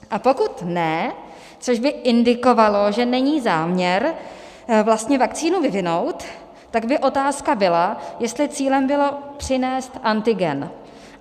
A pokud ne, což by indikovalo, že není záměr vlastně vakcínu vyvinout, tak by otázka byla, jestli cílem bylo přinést antigen.